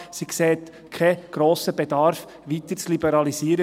Sie sieht keinen grossen Bedarf, die Ladenöffnungszeiten weiter zu liberalisieren.